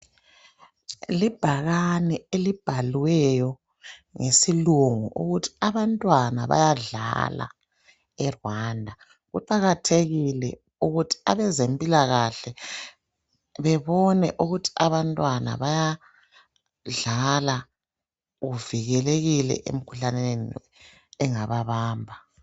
Libhakane elibhaliweyo ngesilungu , ukuthi abantwana, bayadlala eRwanda. Kuqakathekile ukuthi abezempilakahle bebone ukuthi abantwana bayadlala. Bevikelekile, emikhuhlaneni, engababamba.